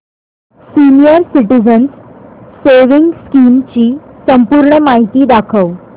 senior citizens savings scheme ची संपूर्ण माहिती दाखव